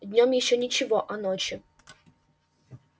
днём ещё ничего а ночью